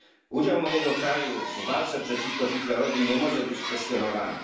Udział mojego kraju w walce przeciwko Hitlerowi nie może być kwestionowany.